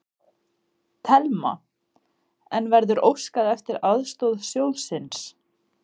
Telma: En verður óskað eftir aðstoð sjóðsins?